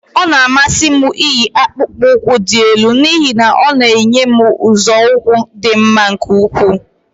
Ọ na-amasị m iyi akpukpu ụkwụ dị elu n'ihi na ọ na-enye m nzọụkwụ dị mma nke ukwuu